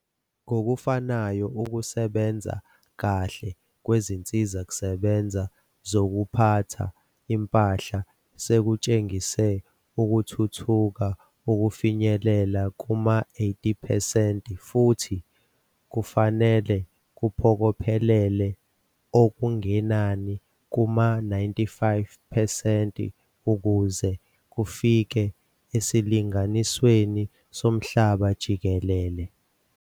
Ngokufanayo, ukusebenza kahle kwezinsizakusebenza zokuphatha impahla sekutshengise ukuthuthuka ukufinyelela kuma-80 percent futhi kufanele kuphokophelele okungenani kuma-95 percent ukuze kufike esilinganisweni somhlaba jikelele.